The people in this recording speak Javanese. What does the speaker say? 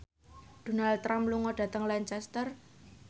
Donald Trump lunga dhateng Lancaster